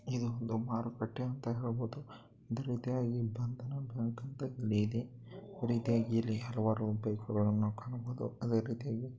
ಇದು ಒಂದು ಮಾರುಕಟ್ಟೆ ಅಂತ ಹೇಳಬಹುದು. ಅದೆ ರೀತಿಯಾಗಿ ಬಂಧನ್ ಬ್ಯಾಂಕ್ ಅಂತ ಇದೆ ಅದೆ ರೀತಿಯಾಗಿ ಹಲವಾರು ಬೈಕ್ ಗಳನ್ನು ಕಾಣಬಹುದು ಅದೆ ರೀತಿಯಾಗಿ--